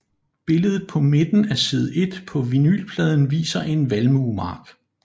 Billedet på midten af side 1 på vinylpladen viser en valmuemark